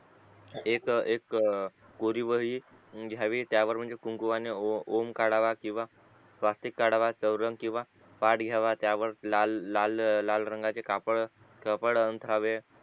एक एक कोरी वही घ्यावी त्यावर म्हणजे कुंकूअणे ओम काढावा किंवा स्वस्तिक काढावा चवरंग किंवा पाठ घ्यावा त्यावर लाल लाल लाल रंगाचे कापड कापड अंथरावे